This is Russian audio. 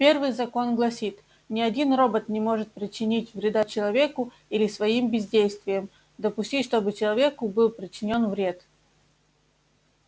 первый закон гласит ни один робот не может причинить вреда человеку или своим бездействием допустить чтобы человеку был причинён вред